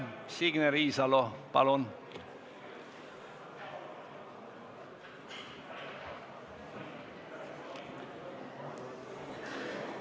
Signe Riisalo, palun!